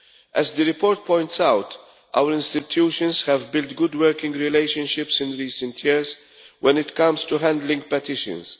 As the report points out, our institutions have built good working relationships in recent years when it comes to handling petitions.